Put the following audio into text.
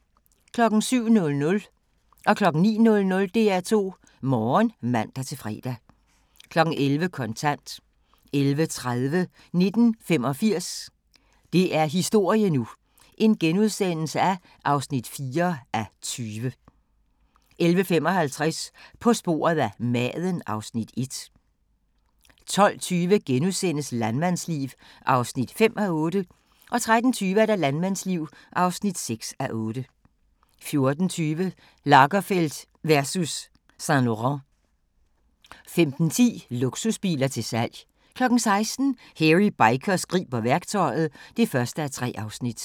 07:00: DR2 Morgen (man-fre) 09:00: DR2 Morgen (man-fre) 11:00: Kontant 11:30: 1985 – det er historie nu! (4:20)* 11:55: På sporet af maden (Afs. 1) 12:20: Landmandsliv (5:8)* 13:20: Landmandsliv (6:8) 14:20: Lagerfeld versus Saint-Laurent 15:10: Luksusbiler til salg 16:00: Hairy Bikers griber værktøjet (1:3)